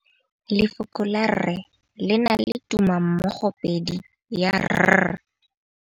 Lefoko la rre le na le tumammogôpedi ya, r.